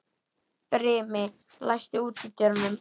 Brimi, læstu útidyrunum.